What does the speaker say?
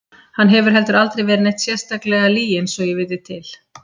Hann hefur heldur aldrei verið neitt sérstaklega lyginn svo ég viti til.